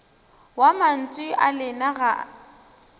wa mantšu a lena ga